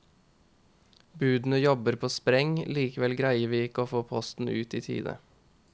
Budene jobber på spreng, likevel greier vi ikke å få posten ut i tide.